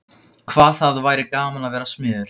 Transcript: Hvað það væri gaman að vera smiður.